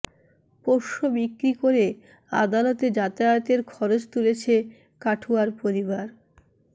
পোষ্য বিক্রি করে আদালতে যাতায়াতের খরচ তুলছে কাঠুয়ার পরিবার